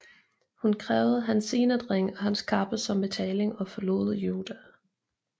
Hun krævede hans signetring og hans kappe som betaling og forlod Juda